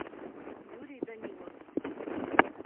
юрий данилов